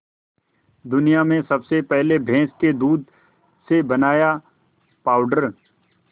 दुनिया में सबसे पहले भैंस के दूध से बनाया पावडर